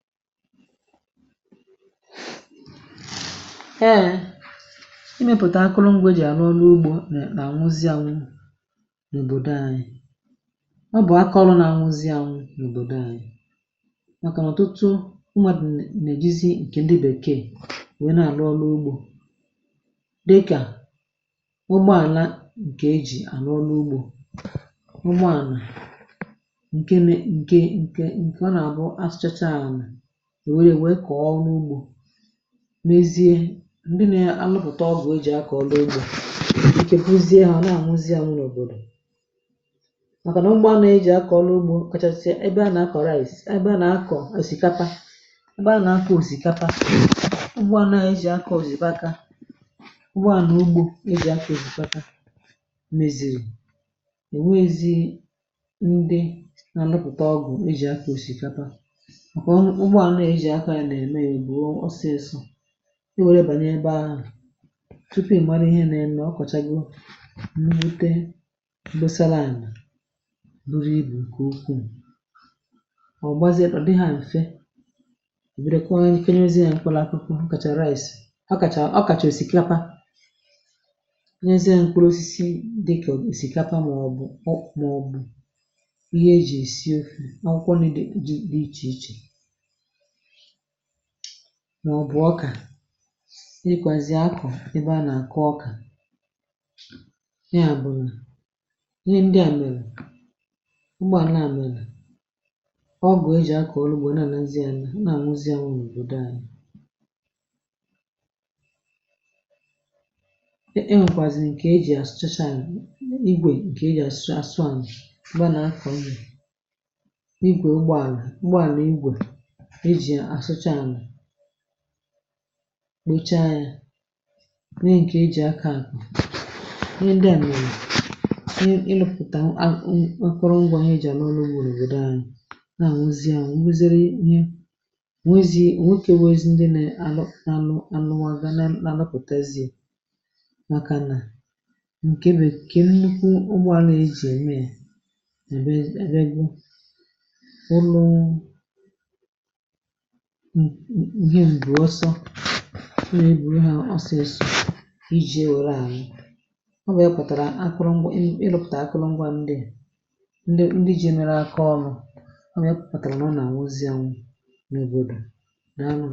ee, imėpùtà akụrụngwà è jì àrụ ọrụ ugbȯ nà-àṅụzi ànụ n’òbòdo ànyị, ọ bụ̀ akọrụ nà àhụzi ànụ n’òbòdo ànyị, màkà ọ̀ tụtụ ụmụ̀adụ̀ nà-èjizi ǹkè ǹdị bèkee nwère, na-àrụ ọrụ ugbȯ dịkà ụgbọ àlà ǹkè ejì àrụ ọrụ ugbȯ, ụgbọ ànà, ǹke nȧ, ǹke ǹke, ǹkè ǹkè a nà-àbụ asterchaal. N’ezie, ndị nȧ anụpụ̀ta ọgwụ̀ e jì akọ̀ dị ogbò, màkà nà ugbo anȧ e jì akọ̀ ọlụgbo kachasị, ebe a nà a kọ̀ rice, ebe a nà a kọ̀ kà sìkapa. ṁgbe anà akọ̀ òsìkapa, ụgbọ anȧ e jì akọ̀ òzìkaka, ụgbọ à nà ugbo e jì akọ̀ òzìkaka, mezìrì ènwe ezi. Ndị nà ànụpụ̀ta ọgwụ̀ e jì akọ̀ òsìkapa, ọ kọwa n’ejì akà na-eme, bụ̀ ọsịsọ̇ i were bànyebe ahụ̀ tupu ị gbara ihe na-eme. Ọ kwàchago mmute, gosa lime buru ibù, ǹkè ukwuù, ọ̀ bụgbazie kpà dị hȧ ṁfė, edekwa kenyezi ya, ǹkwụlụ akụkụ kàchà rice, ọ kàchà, ọ kàchà èsìkapa. Ihe ziya ǹkwụ̀ osisi dịkà èsìkapa, màọ̀bụ̀ ọ̀, màọ̀bụ̀ ihe eji èsi ofu, ọkwụkwọ n’idi dị ichè ichè, nà ọbụ̀ ọkà, n’ikwàzì akụ̀ ebe a nà àkụ ọkà. Ya bụ̀ nà ihe ndi à mèrè, ụgbọ̀ à nà à mèrè, ọ bụ̀ e jì akọ̀ ọlụgbȧ na nazị, à nà àṅụzị wụ̀ òbòdò anyị̇. Ee, e nwèkwàzì ǹkè e jì àsụchacha, ȧnyị̇ igwè, ǹkè e jì asụȧ, sụànù, ụbọ̀ nà akọ̀ m jì igwè. Ụgbọ̀ àlụ̀, ụgbọ̀ àlụ̀, igwè, asụcha àlà, kpocha yȧ, nwẹ nke e jì akȧ àkụ̀ ihe ndị à, nà-ènyè ị nụpụ̀tà nkwa. Ngwȧ ọ̀hụ́ ẹjì à n’ọ́rụ́ ùgwù n’ànyì nà nwe, zie à, nwẹ kwẹziẹ, ǹwẹ kwẹziẹ ihe nwẹ, kà ewe ezi, ndị nà-àlụ nà àlụmà gà na-àlụpụ̀tezie. Màkà nà ǹkẹ̀ bèkè, nnukwu ụmụ̀ a, na-ejì ème, è mebe egȯ ụlọ̀, mm, ihe mbuọ ọsọ ọ nà egbùrù ha, ọsịsụ i ji ewele àṅụ, ọ wee pụ̀tàrà akụrụ̀ ngwà. Ị nụpụ̀tà akụrụ̀ ngwà, ndị ndị ji e mere aka ọlụ, ọ wee pụ̀pụ̀tàrà nà àṅụzi àṅụ n’òbòdò.